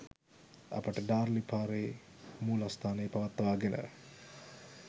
අපට ඩාර්ලි පාරේ මූලස්‌ථානය පවත්වාගෙන